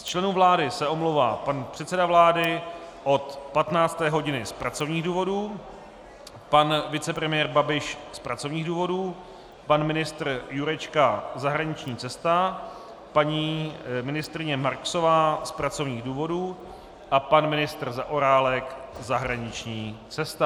Z členů vlády se omlouvá pan předseda vlády od 15. hodiny z pracovních důvodů, pan vicepremiér Babiš z pracovních důvodů, pan ministr Jurečka - zahraniční cesta, paní ministryně Marksová z pracovních důvodů a pan ministr Zaorálek - zahraniční cesta.